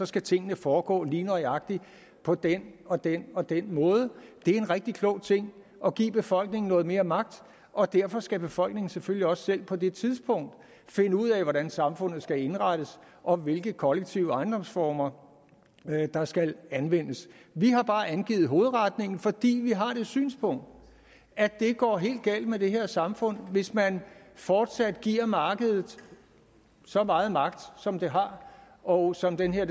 skal tingene foregå lige nøjagtig på den og den og den måde det er en rigtig klog ting at give befolkningen noget mere magt og derfor skal befolkningen selvfølgelig også selv på det tidspunkt finde ud af hvordan samfundet skal indrettes og hvilke kollektive ejendomsformer der skal anvendes vi har bare angivet hovedretningen fordi vi har det synspunkt at det går helt galt med det her samfund hvis man fortsat giver markedet så meget magt som det har og som den her